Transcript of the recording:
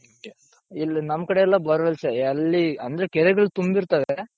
ಇಲ್ಲಿ ನಮ್ ಕಡೆ ಎಲ್ಲ bore wells ಎಲ್ಲಿ ಅಂದ್ರೆ ಕೆರೆಗಳ್ ತುಂಬಿರ್ತಾವೆ.